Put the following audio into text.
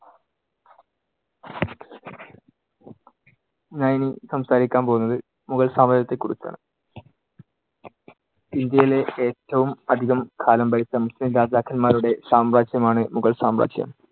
ഞാൻ ഇനി സംസാരിക്കാൻ പോകുന്നത് മുഗൾ സാമ്രാജ്യത്തെക്കുറിച്ചാണ്. ഇന്ത്യയി ഏറ്റവും അധികം കാലം ഭരിച്ച മുസ്ലീം രാജാക്കന്മാരുടെ സാമ്രാജ്യമാണ് മുഗൾ സാമ്രാജ്യം.